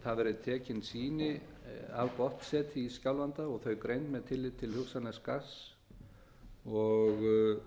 það verði tekin sýni af botnseti í skjálfanda og þau greind með tilliti til hugsanlegs gass og